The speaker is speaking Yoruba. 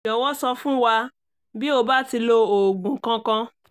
jọ̀wọ́ sọ fún wa bí o bá ti lo oògùn kankan